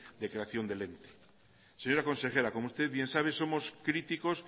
de creación del ente señora consejera como usted bien sabe somos críticos